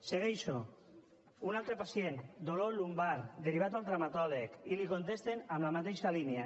segueixo un altre pacient dolor lumbar derivat al traumatòleg i li contesten en la mateixa línia